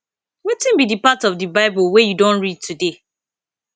wetin be di part of di bible wey you don read today